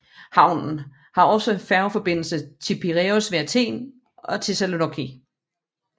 Havnen har også færgeforbindelse til Piræus ved Athen og Thessaloniki